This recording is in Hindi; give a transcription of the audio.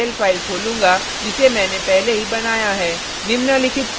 मैं perlarray dot pl फाइल खोलूँगा जिसे मैने पहले ही बनाया है